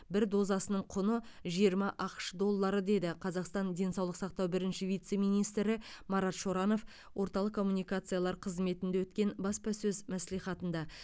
бір дозасының құны жиырма ақш доллары деді қазақстан денсаулық сақтау бірінші вице министрі марат шоранов орталық коммуникациялар қызметінде өткен баспасөз мәслихатында